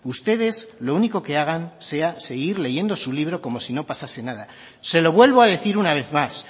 ustedes lo único que hagan sea seguir leyendo su libro como si no pasase nada se lo vuelvo a decir una vez más